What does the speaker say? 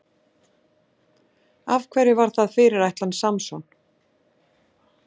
Af hverju var það fyrirætlan Samson?